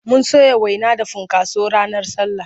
Mun soya waina da funkaso ranar sallah.